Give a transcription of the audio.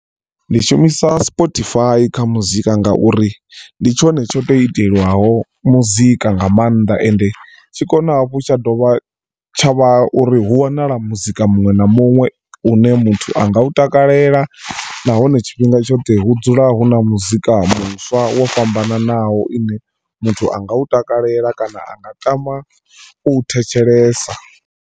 Ndi shumisa Spotify kha muzika ngauri ndi tshone tsho tou itelwaho muzika nga mannḓa and tshikona hafhu tsha dovha tsha vha uri hu wanala muzika muṅwe na muṅwe une muthu anga u takalela nahone tshifhinga tshoṱhe hu dzula hu na muzika muswa wo fhambananaho ine muthu anga u takalela kana anga tama u thetshelesa.